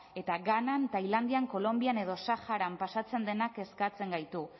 eta ghanan thailandian kolonbian edo saharan pasatzen dena kezkatzen gaitu